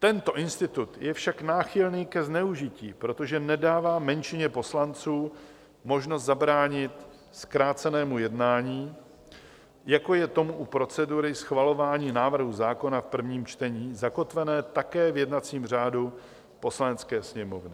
Tento institut je však náchylný ke zneužití, protože nedává menšině poslanců možnost zabránit zkrácenému jednání, jako je tomu u procedury schvalování návrhu zákona v prvním čtení, zakotvené také v jednacím řádu Poslanecké sněmovny.